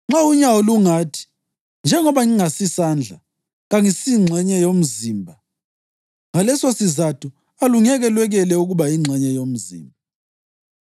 Nxa unyawo lungathi, “Njengoba ngingasisandla, kangisingxenye yomzimba,” ngalesosizatho alungeke lwekele ukuba yingxenye yomzimba.